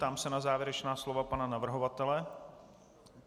Ptám se na závěrečná slova pana navrhovatele.